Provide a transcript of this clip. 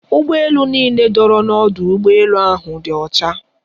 Ụgbọ elu niile dọrọ n'ọdụ ụgbọ elu ahụ dị ọcha.